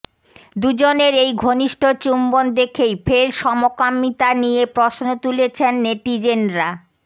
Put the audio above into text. দুজনের এই ঘনিষ্ঠ চুম্বন দেখেই ফের সমকামীতা নিয়ে প্রশ্ন তুলেছেন নেটিজেনরা